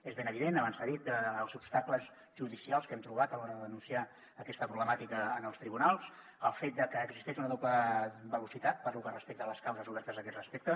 és ben evident abans s’ha dit dels obstacles judicials que hem trobat a l’hora de denunciar aquesta problemàtica en els tribunals el fet de que existeix una doble velocitat pel que respecta a les causes obertes a aquest respecte